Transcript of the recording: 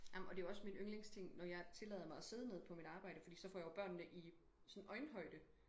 Jamen og det jo også min yndlingsting når jeg tillader mig og sidde ned på mit arbejde fordi så får jeg jo børnene i sådan øjenhøjde